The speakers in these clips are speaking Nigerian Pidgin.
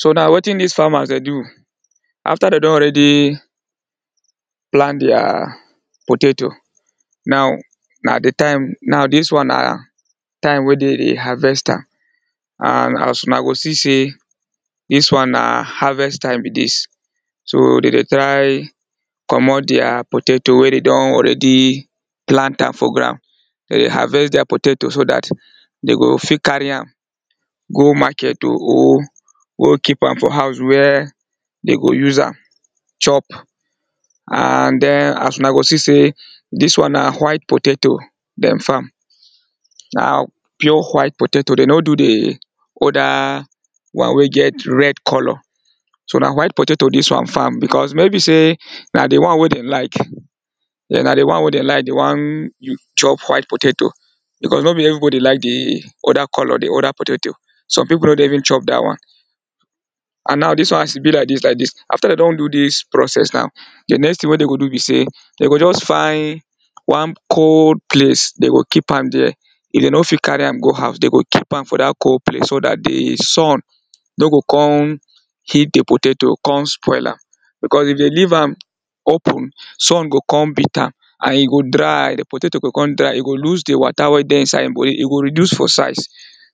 so na wettin dis farmas de do after de don already plant dia potato, now na de time, now dis one na time wer dey de harvest am and as una go see sey dis one na harvest time be dis, so dey de try comot dia potato wer dem don already plant am for ground, de harvest dia potato so that de go fit carry am go market to o go keep a, for house were de go use am chop. and den as una go see sey dis one na white potato dem farm na pure white potato, dem no do de other one wer get red colour, so na white potato dis one farm because maybe sey na de one wey dem like na de one wey de like de wan chop white potato because no be everybody like de oda colour de oda potato, some pipu no de even chop that one and now dis one as e be like dis like dis after dem don do dis process now, de next thing wer dem go do be say, dem go just find one cold place de go keep am dere, if dem no fit carry am go house de go keep am for dat cold place so dat de sun no go come heat de potato come spoil am because if dem leave am open, sun go come beat am and e go dry de potato go come dry, e go lose de water wey de inside e go reduce for size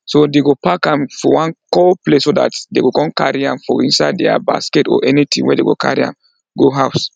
so de go pack am for one cold place so dat dey go come carry am for inside dia basket or anything wer dey go carry am go house